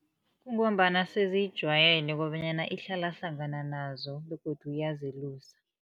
Kungombana seziyijayele kobanyana ihlala hlangana nazo begodu iyazelusa.